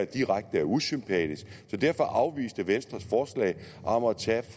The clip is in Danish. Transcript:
direkte usympatisk så derfor afviste vi venstres forslag om at tage